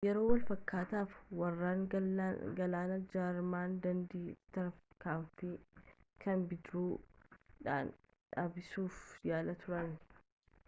yeroo wal-fakkaataatti waraanni galaanaa jarman daandii tiraafikaa kana bidiruu-u dhaan dhaabsisuuf yaalaa turan